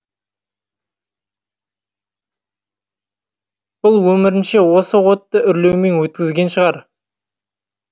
бұл өмірінше осы отты үрлеумен өткізген шығар